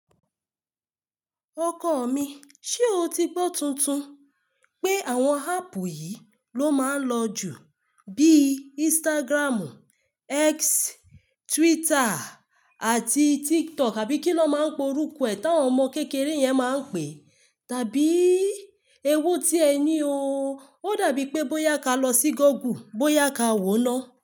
Ọkọ mi, ṣe o ti gbọ tuntun pé àwọn áápù yìí ló máa ń lọ jù bí Instagram, X, Twitter àti TikTok àbí kí lọ máa ń pe orúkọ ẹ tí àwọn ọmọ kékeré yẹn máa ń pè? Tàbí èwo tí ẹ ní o. Ó dàbí pé bóyá ka lọ sí Google, bóyá ka wo ọ́ná.